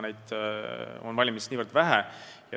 Neid ettevõtteid on valimis väga vähe.